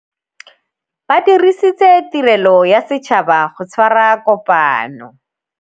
Ba dirisitse tirêlô ya setšhaba go tshwara kopanô.